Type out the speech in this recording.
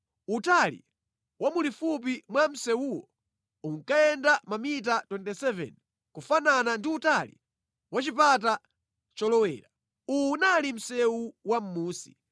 Utali wa mulifupi mwa msewuwo unkayenda mamita 27 kufanana ndi utali wa chipata cholowera. Uwu unali msewu wa mʼmunsi.